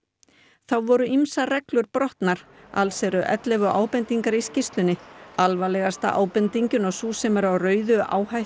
þá voru ýmsar reglur brotnar alls eru ellefu ábendingar í skýrslunni alvarlegasta ábendingin og sú sem er á rauðu